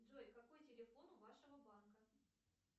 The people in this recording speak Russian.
джой какой телефон у вашего банка